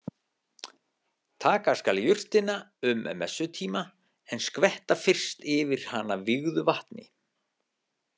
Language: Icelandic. Taka skal jurtina um messutíma en skvetta fyrst yfir hana vígðu vatni.